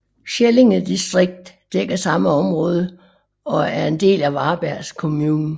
Skællinge distrikt dækker det samme område og er en del af Varbergs kommun